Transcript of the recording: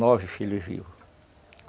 Nove filhos vivos.